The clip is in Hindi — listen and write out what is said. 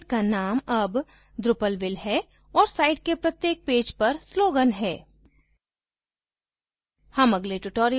ध्यान दें कि हमारे site का name अब drupalville है और site के प्रत्येक पैज पर slogan है